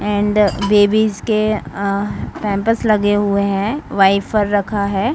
And babies के pampers लगे हुए है वाइपर रखा है।